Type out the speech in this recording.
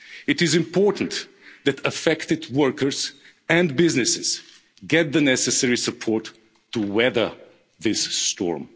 impact. It is important that affected workers and businesses get the necessary support to weather this